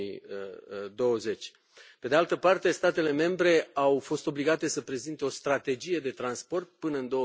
2020. Pe de altă parte, statele membre au fost obligate să prezinte o strategie de transport până în